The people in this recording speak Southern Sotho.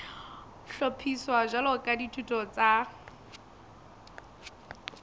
hlophiswa jwalo ka dithuto tsa